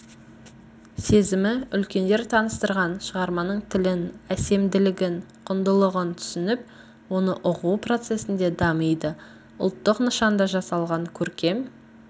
сезімі үлкендер таныстырған шығарманың тілін әсемділігін құндылығын түсініп оны ұғу процесінде дамиды ұлтық нышанда жасалған көркем